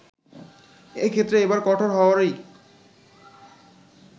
এক্ষেত্রে এবার কঠোর হওয়ারই